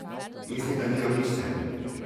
Mislim, da nimam nič s tem.